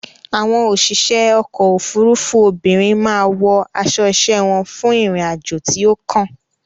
Àwọn òṣìṣẹ́ ọkò òfurufú obìnrin má a wọ aṣo iṣẹ́ wọn fún ìrìn àjò tí ó kàn.